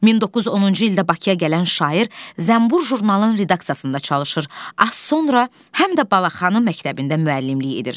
1910-cu ildə Bakıya gələn şair Zənbur jurnalının redaksiyasında çalışır, az sonra həm də Balaxanı məktəbində müəllimlik edir.